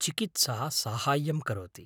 चिकित्सा साहाय्यं करोति।